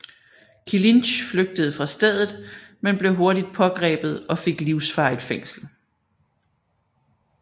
Kilinc flygtede fra stedet men blev hurtigt pågrebet og fik livsvarigt fængsel